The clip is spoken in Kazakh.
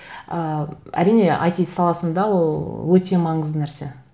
ы әрине айти саласында ол өте маңызды нәрсе